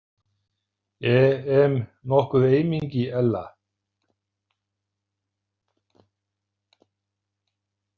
E em nokkuð eymingi, Ella?